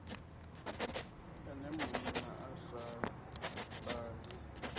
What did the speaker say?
ene munna a sa ṱali